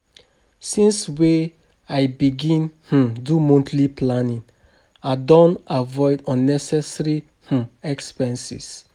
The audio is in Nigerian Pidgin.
Since wey I begin um do monthly planning, I don avoid unnecessary um expenses.